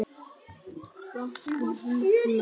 Stattu, hugsa ég.